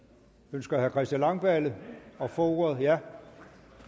ønsker herre christian langballe at få ordet ja